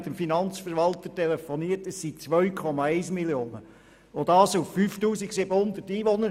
Danach habe ich vom Finanzverwalter telefonisch erfahren, dass es 2,1 Mio. Franken sind und auf 5700 Einwohnern.